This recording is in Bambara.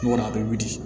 Kɔni a bɛ wili